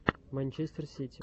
манчестер сити